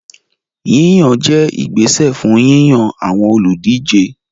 Yíyàn jẹ́ ìgbésẹ̀ fún yíyan àwọn olùdíje